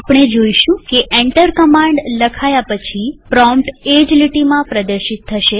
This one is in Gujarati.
આપણે જોઈશું કે એન્ટર કમાંડ લખાયા પછી પ્રોમ્પ્ટ એ જ લીટીમાં પ્રદર્શિત થશે